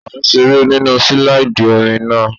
À ń seré nínu sílàìdì omi náà